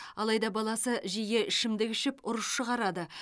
алайда баласы жиі ішімдік ішіп ұрыс шығарады